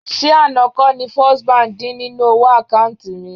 Ṣé àná kọ́ ni First Bank dín nínú owó àkáùntì mi?